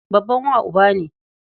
Babban wa uba ne.